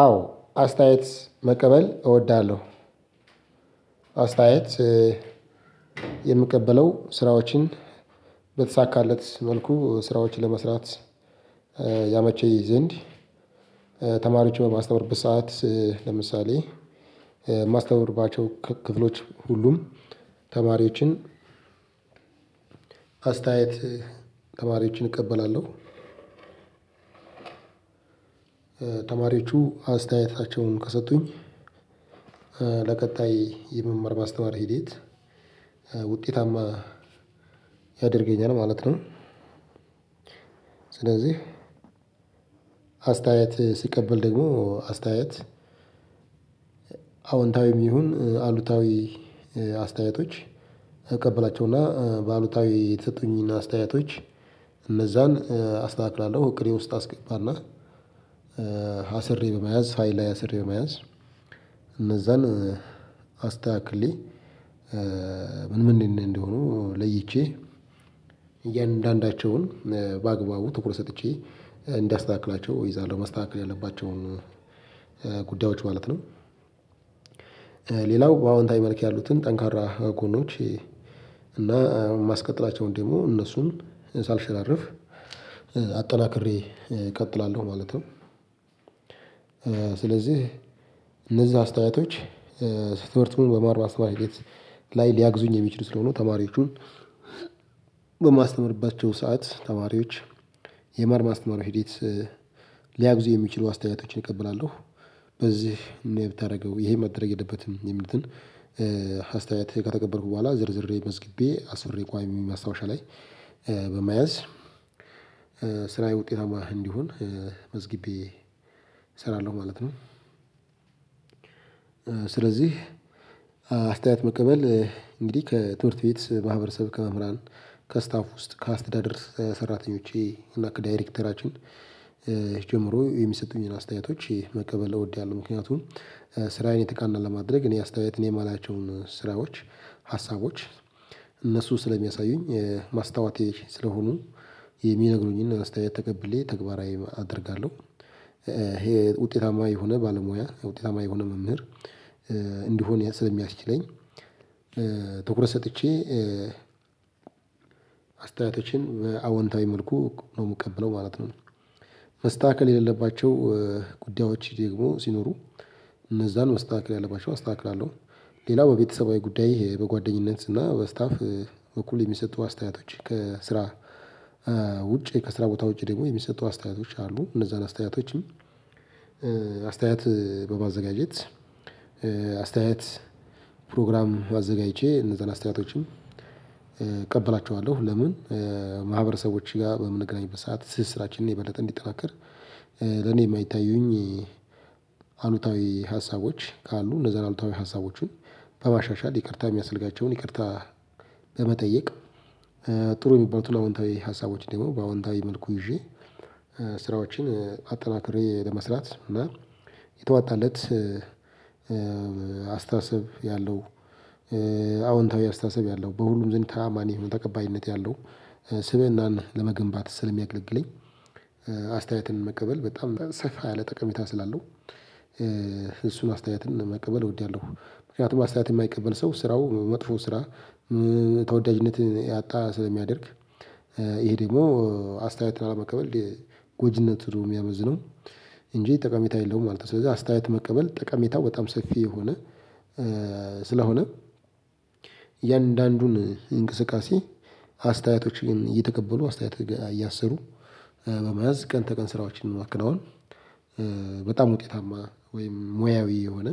አዎ አስተያየት መቀበል እወዳለሁ። አስተያየት የምቀበለው ስራዎችን በተሳካለት መልኩ ስራዎችን ለመስራት ያመቸኝ ዘንድ ተማሪዎችን በማስተምርበት ሰዓት ለምሳሌ የማስተምርባቸው ክፍሎች ሁሉም ተማሪዎችን አስተያየት ተማሪዎችን እቀበላለሁ። ተማሪዎቹ አስተያየታቸውን ከሰጡኝ ለቀጣይ የመማር ማስተማር ሂዴት ውጤታማ ያደርገኛል ማለት ነው። ስለዚህ አስተያየት ስቀበል ደግሞ አስተያየት አዎንታዊም ይሁን አሉታዊ አስተያየቶች እቀበላቸውና በአሉታዊ የተሰጡኝና አስተያየቶች እነዛን አስተካክላለሁ እቅዴ ውስጥ አስገባና አስሬ በመያዝ ፋይል ላይ አስሬ በመያዝ እነዛን አስተካክሌ ምን ምን እንደ እንደሆኑ ለይቼ እያንዳንዳቸውን በአግባቡ ትኩረት ሰጥቼ እንዳስተካክላቸው እይዛለሁ መስተካከል ያለባቸውን ጉዳዮች ማለት ነው። ሌላው በአዎንታዊ መልክ ያሉትን ጠንካራ ጎኖች እና ማስቀጥላቸውን ደግሞ እነሱን ሳልሸራርፍ አጠናክሬ እቀጥላለሁ ማለት ነው። ስለዚህ እነዛ አስተያየቶች ስለትምህርት በመማር ማስተማር ሂደት ላይ ሊያገዙኝ የሚችሉ ስለሆኑ ተማሪዎቹን በማስተምርባቸው ሰዓት ተማሪዎች የመማር ማስተማር ሂዴት ሊያግዙ የሚችሉ አስተያየቶችን እቀበላለሁ። በዚህ እንዲህ ብታደርገው ይሄ መደረግ የለበትም የምሉትን አስተያየት ከተቀበልኩ በኋላ ዘርዝሬ መዝግቤ አስሬ ቋሚ ማስታወሻ ላይ በመያዝ ስራየ ውጤታማ እንዲሆን መዝግቤ እሰራለሁ ማለት ነው። ስለዚህ አስተያየት መቀበል እንግዲህ ከትምህርት ቤት ማህበረሰብ፣ ከመምህራን፣ ከስታፍ ወስጥ፣ ከአስተዳደር ሰራተኞቼ እና ከዳይረክተራችን ጀምሮ የሚሰጡኝን አስተያየቶች መቀበል እወዳለሁ። ምክንያቱም ስራዬን የተቃና ለማድረግ እኔ አስተያየት እኔ የማላያቸውን ስራዎች ሀሳቦች እነሱ ስለሚያሳዩኝ ማስታውቴ ስለሆኑ የሚነግሩኝን አስተያየት ተቀብሌ ተግባራዊ አደርጋለሁ። ይሄ ውጤታማ የሆነ ባለሙያ ውጤታማ የሆነ መምህር እንድሆን ስለሚያስችለኝ ትኩረት ሰጥቼ አስተያየቶችን በአዎንታዊ መልኩ ነው የምቀበለው ማለት ነው። መስተካከል የሌለባቸው ጉዳዮች ደግሞ ሲኖሩ እነዛን መስተካከል ያለባቸው አስተካክላለሁ። ሌላው በቤተሰባዊ ጉዳይ በጓደኝነት እና በስታፍ እኩል የሚሰጡ አስተያየቶች ከስራ ከስራ ውጭ ከስራ ቦታ ውጭ ደግሞ የሚሰጡ አስተያየቶች ካሉ እነዛን አስተያየቶችም አስተያየት በማዘጋጀት አስተያየት ፕሮግራም አዘጋጅቼ እነዛን አስተያየቶችን እቀብላቸዋለሁ። ለምን ማህበረሰቦች ጋር በምንገናኝበት ሰዓት ትስስራችንን የበለጠ እንዲጠናከር ለኔ የማይታዩኝ አሉታዊ ሀሳቦች ካሉ እነዛን አሉታዊ ሀሳቦችን በማሻሻል ይቅርታ የሚያስፈልጋቸውን ይቅርታ በመጠየቅ ጥሩ የሚባሉትን አዎንታዊ ሀሳቦችን ደግሞ በአዎንታዊ መልኩ ይጄ ስራዎችን አጠናክሬ ለመስራት እና የተዋጣለት አስተሳሰብ ያለው አዎንታዊ አስተሳሰብ ያለው በሁሉም ዝንታ ተአማኒ የሆነ ተቀባይነት ያለው ስብእናን ለመገንባት ስለሚያገለግለኝ አስተያየትን መቀበል በጣም ሰፋ ያለ ጠቀሜታ ስላለው እሱን አስተያየትን መቀበል እወዳለሁ። ምክንያቱም አስተያየትን የማይቀበል ሰው ስራው መጥፎ ስራ ተወዳጅነትን ያጣ ስለሚያደርግ ይሄ ደግሞ አስተያየት ላለመቀበል ጎጅነቱ ነው የሚያመዘነው እንጂ ጠቃሜታ የለውም ማለት ነው። ስለዚህ አስተያየት መቀበል ጠቃሜታው በጣም ሰፊ የሆነ ስለሆነ እያንዳንዱን እንቅስቃሴ አስተያየቶችን እየተቀበሉ አስተያየት ጋር እያሰሩ በመያዝ ቀን ተቀን ስራዎችን ማከናወን በጣም ውጤታማ ወይም ሙያዊ የሆነ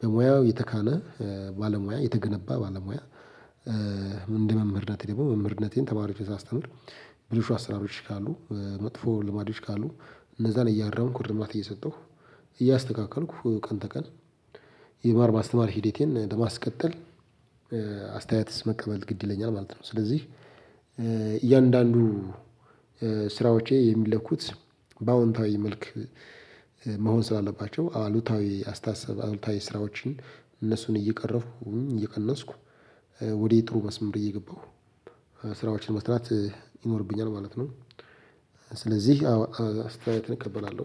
በሙያው የተካነ ባለሙያ የተገነባ ባለሙያ እንደ መምህርነት ደግሞ መምህርነቴን ተማሪዎችን ሳስተምር ብልሹ አሰራሮች ካሉ መጥፎ ልማዶች ካሉ እነዛን እያረምኩ እርማት እየሰጠሁ እያስተካከልኩ ቀን ተቀን የመማር ማስተማር ሂዴቴን ለማስቀጠል አስተያየትስ መቀበል ግድ ይለኛል ማለት ነው። ስለዚህ እያንዳንዱ ስራዎቼ የሚለኩት በአዎንታዊ መልክ መሆን ስላለባቸው አሉታዊ አስተሳሰብ አሉታዊ ስራዎችን እነሱን እየቀረፍኩ እየቀነስኩ ወደ ጥሩ መስመር እየገባሁ ስራዎችን መስራት ይኖርብኛል ማለት ነው። ስለዚህ አዎ አስተያየት እቀበላለሁ።